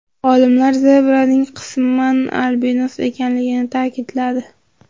Olimlar zebraning qisman albinos ekanligini ta’kidladi.